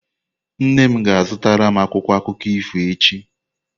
Nne m ga-azụtara m akwụkwọ akụkọ ifo echi.